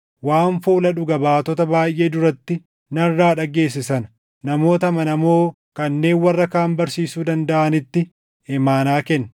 Waan fuula dhuga baatota baayʼee duratti narraa dhageesse sana namoota amanamoo kanneen warra kaan barsiisuu dandaʼanitti imaanaa kenni.